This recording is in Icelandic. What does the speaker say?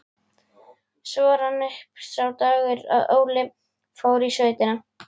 Svo rann upp sá dagur að Óli fór í sveitina.